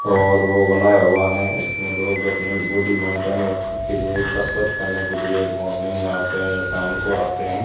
और वो बनाया हुआ है इसमें लोग अपनी बॉडी मेंटेन रखने के लिए कसरत करने के लिए मॉर्निंग में आते हैं या शाम को आते हैं।